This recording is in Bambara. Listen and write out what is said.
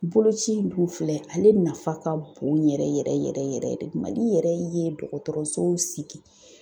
Boloci in dun filɛ, ale nafa ka bon yɛrɛ yɛrɛ yɛrɛ yɛrɛ de, Mali yɛrɛ ye dɔgɔtɔrɔso sigi